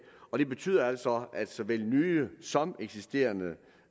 og det betyder altså at såvel nye som eksisterende